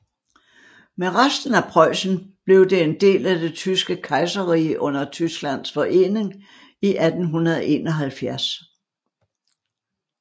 Med resten af Preussen blev det en del af det Tyske Kejserrige under Tysklands forening i 1871